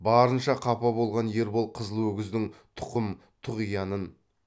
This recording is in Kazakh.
барынша қапа болған ербол қызыл өгіздің тұқым тұғиянын